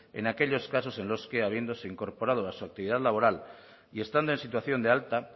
en aquellos casos en los que habiéndose incorporado a su actividad laboral y estando en situación de alta